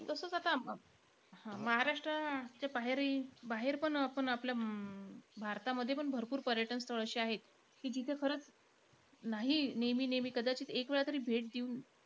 तसंच आता महाराष्ट्राच्या बाहेरही बाहेरपण. आपण आपल्या अं भारतमध्येपण भरपूर पर्यटन स्थळ अशी आहेत की, जिथे नाही नेहमी-नेहमी. कदाचित एक वेळा तरी भेट देऊन,